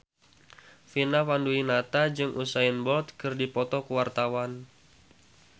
Vina Panduwinata jeung Usain Bolt keur dipoto ku wartawan